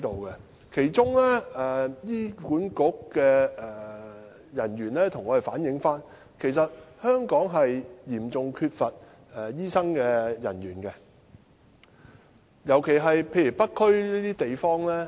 醫院管理局的人員曾向我們反映，香港醫生嚴重短缺，尤其是在北區這些地方。